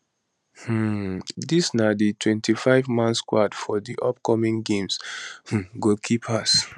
um dis na di 25 man squad for di upcoming games um goalkeepers